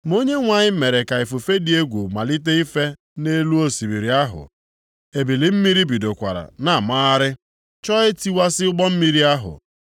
Ma Onyenwe anyị mere ka ifufe dị egwu malite ife nʼelu osimiri ahụ, ebili mmiri bidokwara na-amagharị, chọọ itiwasị ụgbọ mmiri ahụ.